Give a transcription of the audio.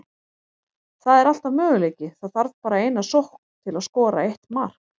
Það er alltaf möguleiki, það þarf bara eina sókn til að skora eitt mark.